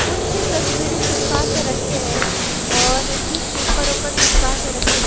कुछ तस्वीरें चिपका कर रखें है और भीं पेपर ओपर चिपका कर रखें--